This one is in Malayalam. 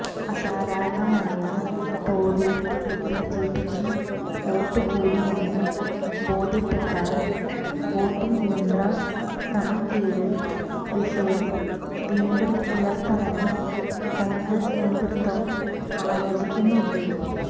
അസാധാരണമായ തോതിൽ ബിജെപിക്ക് വോട്ടു കൂടിയെന്ന് ബോധ്യപ്പെട്ടാൽ വോട്ടിങ് യന്ത്ര ക്രമക്കേട് വിഷയം വീണ്ടും ഉയര്ത്താനും കോണ്ഗ്രസ് നേതൃത്വം ആലോചിക്കുന്നുണ്ട്